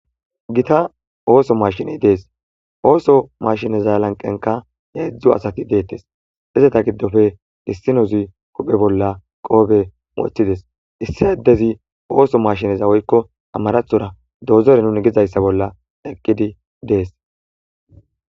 Gita ooso mashine dees ooso mashineza lanqenka heedzdzo asati deettes izeta giddofe issinozi kuphe bolla qoobe moothides issi eddezi ooso mashineza woykko amarathora dozore nuni gizayssa bolla eqqidi dees.